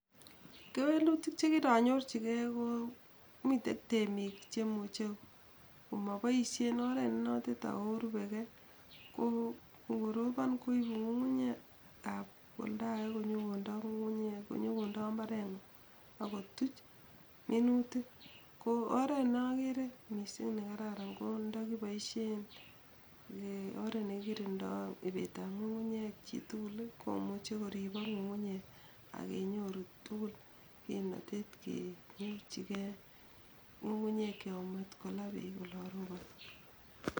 Kewelutik chekiranyorchikei, komitei temiik che imuchei komapoishen oret nenotet ako korupekei ako ngoroprn koibu ngungunyekab oldakee kobwa mbarengung ako tuch minutik. Ko oret nakere mising nekararan konda kipoishien ee oret nekikirindoi ipeetab ngungunyek tugul komuchi koripok ngungunyek akenyoru tugul kimnatet kekerchikei ngungunyekcho komatkolaa peek.